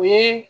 O ye